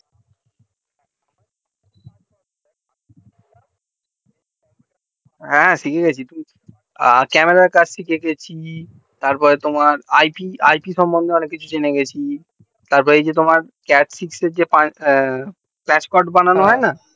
হ্যাঁ শিখে গেছি camera র কাজ শিখে গেছি তার পর তোমার it সমন্ধে অনেক কিছু জেনে গেছি তার পর এই যে তোমার catch could বানানো হয়না